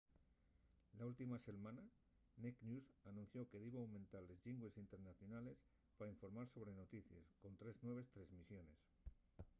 la última selmana naked news anunció que diba aumentar les llingües internacionales pa informar sobre noticies con tres nueves tresmisiones